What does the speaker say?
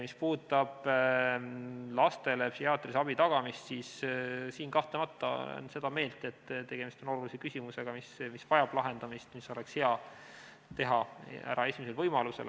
Mis puudutab lastele psühhiaatrilise abi tagamist, siis kahtlemata olen seda meelt, et tegemist on olulise küsimusega, mis vajab lahendamist, see oleks hea teha ära esimesel võimalusel.